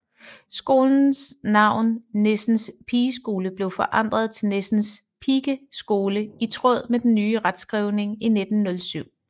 Skolens navn Nissens Pigeskole blev forandret til Nissens Pikeskole i tråd med den nye retskrivning i 1907